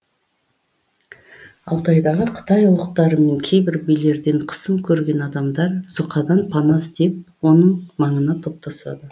алтайдағы қытай ұлықтары мен кейбір билерден қысым көрген адамдар зұқадан пана іздеп оның маңына топтасады